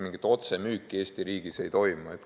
Mingit otsemüüki Eesti riigis ei toimu.